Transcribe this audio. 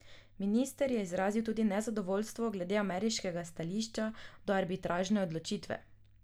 Minister je izrazil tudi nezadovoljstvo glede ameriškega stališča do arbitražne odločitve.